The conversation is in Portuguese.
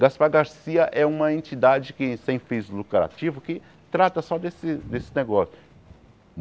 Gaspar Garcia é uma entidade que sem fins lucrativos, que trata só desse desse negócio.